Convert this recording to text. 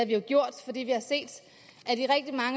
vi jo gjort fordi vi har set